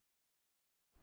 Harpa